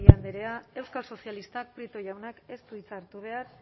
gorrotxategi andrea euskal sozialistak prieto jaunak ez du hitza hartu behar